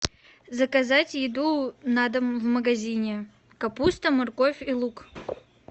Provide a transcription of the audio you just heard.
заказать еду на дом в магазине капуста морковь и лук